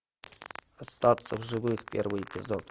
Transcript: остаться в живых первый эпизод